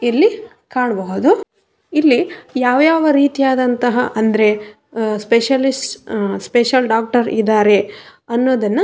ಇಲ್ಲಿ ಕಾಣ್ಬಹುದು ಇಲ್ಲಿ ಯಾವ್ ಯಾವ್ ರೀತಿಯಾದಂತಹ ಅಂದ್ರೆ ಸ್ಪೆಷಲಿಸ್ಟ್ ಸ್ಪೆಷಲ್ ಡಾಕ್ಟರ್ ಇದಾರೆ ಅನ್ನೋದನ್ನ --